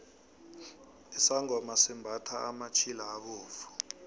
isangoma simbathha amatjhila abovu